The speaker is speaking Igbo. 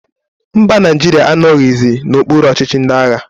Mba, Naijiria anoghizi n'okpuru ọchịchị ndị agha